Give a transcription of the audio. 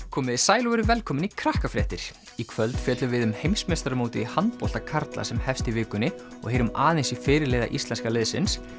komiði sæl og verið velkomin í í kvöld fjöllum við um heimsmeistaramótið í handbolta karla sem hefst í vikunni og heyrum aðeins í fyrirliða íslenska liðsins